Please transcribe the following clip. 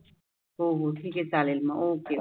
हो हो ठिक आहे चालेल मग. okay